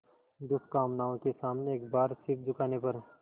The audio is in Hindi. दुष्कामनाओं के सामने एक बार सिर झुकाने पर